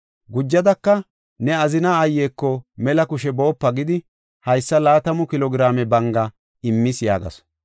Gujadaka, “ ‘Ne azina aayeko mela kushe boopa’ gidi haysa laatamu kilo giraame banga immis” yaagasu.